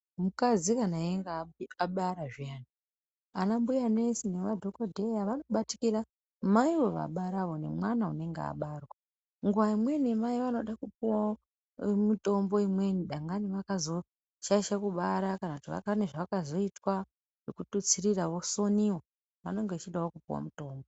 Mukadzi kana einga abara zviyani, anambuyanesi nemadhokodheya vanobatikira maivo vabara nemwana unonga abarwa. Nguwa dzimweni Mai vanoda kupuwawo mitombo imweni, dangani vakazoshaishe kubara kana kuti pane zvavakazoitwa kuthutsirira vosoniwa, vanonga vechidawo kupuwa mutombo.